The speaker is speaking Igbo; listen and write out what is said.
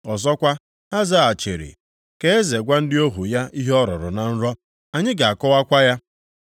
Ọzọkwa, ha zaghachiri, “Ka eze gwa ndị ohu ya ihe ọ rọrọ na nrọ, anyị ga-akọwakwa ya.”